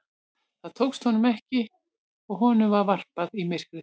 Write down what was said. Það tókst honum ekki og honum var varpað í myrkrið.